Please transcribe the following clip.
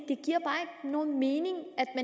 nogen mening